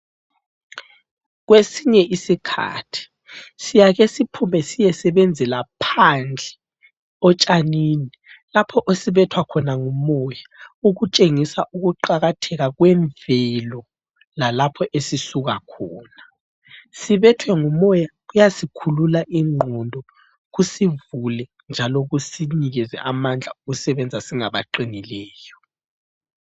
Kwesinye isikhathi, siyakesiphume siyesebenzela phandle, otshanini lapho esibethwa khona ngumoya, ukutshengisa ukuqakatheka kwemvelo lalapho esisukakhona. Sibethwe ngumoya, kuyasikhulula ingqondo, kusivule njalo kusinikeze amandla okusebenza singabaqinileyo.